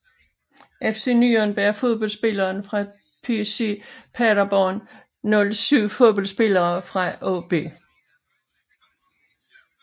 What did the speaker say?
FC Nürnberg Fodboldspillere fra SC Paderborn 07 Fodboldspillere fra AaB